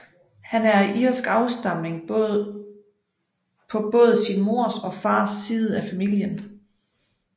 Han er af irsk afstamning på både sin mors og fars side af familien